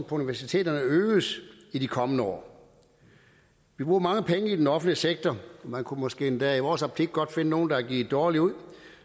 universiteterne øges i de kommende år vi bruger mange penge i den offentlige sektor man kunne måske endda i vores optik godt finde nogle der er givet dårligt ud